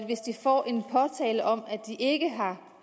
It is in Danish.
hvis de får en påtale om at de ikke har